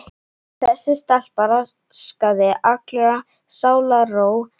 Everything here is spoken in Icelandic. Þessi stelpa raskaði allri sálarró hans.